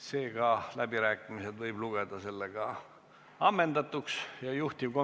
Seega läbirääkimised võib lugeda ammendatuks ja juhtivkomisjoni ettepanek on eelnõu 176 esimene lugemine lõpetada.